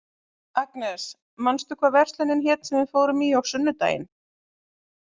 Agnes, manstu hvað verslunin hét sem við fórum í á sunnudaginn?